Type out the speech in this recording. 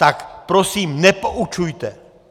Tak prosím nepoučujte!